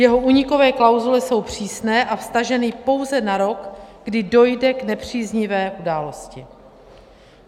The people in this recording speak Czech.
Jeho únikové klauzule jsou přísné a vztaženy pouze na rok, kdy dojde k nepříznivé události.